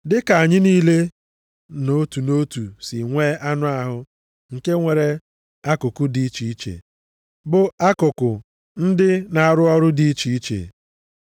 Dịka anyị niile nʼotu nʼotu si nwe anụ ahụ nke nwere akụkụ dị iche iche, bụ akụkụ ndị na-arụ ọrụ dị iche iche,